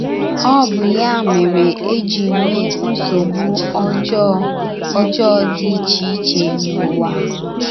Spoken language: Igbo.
Ọ bụ ya mere e ji nwee nsogbu ọjọọ ọjọọ dị iche iche n’ụwa.